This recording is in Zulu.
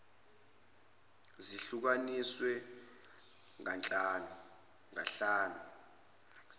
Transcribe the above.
zihlu kaniswe kahlanu